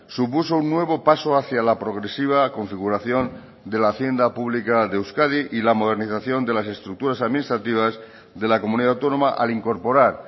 supuso un nuevo paso hacia la progresiva configuración de la hacienda pública de euskadi y la modernización de las estructuras administrativas de la comunidad autónoma al incorporar